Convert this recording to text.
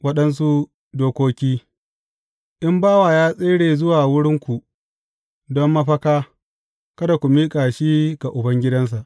Waɗansu dokoki In bawa ya tsere zuwa wurinku don mafaka, kada ku miƙa shi ga ubangidansa.